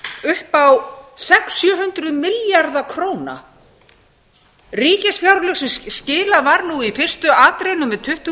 upp á sex hundruð til sjö hundruð milljarða króna ríkisfjárlög sem skilað var nú í fyrstu atrennu með tuttugu